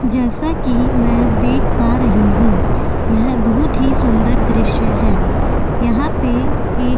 जैसा कि मैं देख पा रही हूं यह बहुत ही सुंदर दृश्य है यहां पे एक --